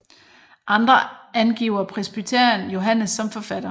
Andre angiver presbyteren Johannes som forfatter